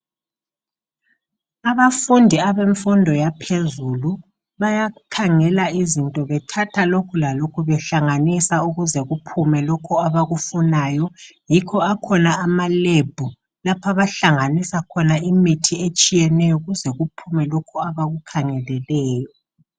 Abafundi abemfundo yaphezulu bayakhangela izinto bethatha lokhu lalokhu behlanganisa ukuze kuphume lokhu abakufunayo .Yikho akhona amalab lapho abahlangisa khona imthi etshiyeneyo kuze kuphume lokhu abakukhangeleleyo.